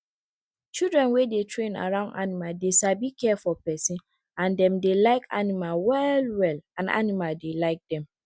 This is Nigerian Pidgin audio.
children wey dey train around animal dey sabi care for pesin and dem dey like animal well well and animal dey like dem